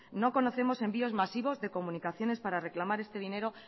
no conocemos envíos masivos de comunicaciones para reclamar este dinero